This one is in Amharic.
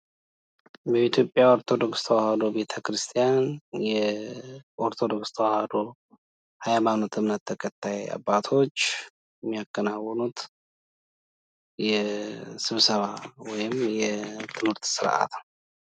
በኢትዮጵያ ኦርቶዶክስ ተዋህዶ አምነት ተከታይ አባቶች የሚያከናዉኑት የስብሰባ ወይም የትምህት ስርዓት ነው::